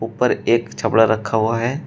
पर एक छपड़ा रखा हुआ है।